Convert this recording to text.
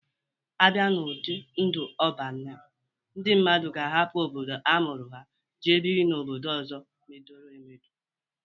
A bịa n'ụdị ndụ Ọban a, ndị mmadụ ga-ahapụ obodo a mụrụ ha, jee biri n'obodo ọzọ medoro emedo.